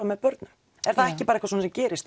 með börnum er það ekki bara eitthvað sem gerist